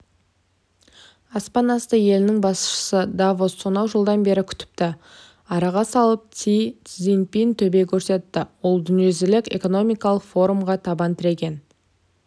аспан асты елінің басшысын давос сонау жылдан бері күтіпті араға салып си цзиньпин төбе көрсетті ол дүниежүзілік экономикалық форумға табан тіреген